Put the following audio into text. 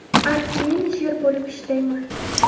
Art-menejer bo‘lib ishlayman.